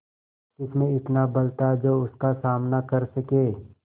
किसमें इतना बल था जो उसका सामना कर सके